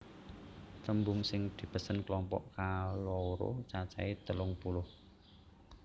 Tembung sing dipesen klompok kaloro cacahé telung puluh